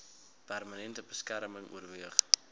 permanente beskerming oorweeg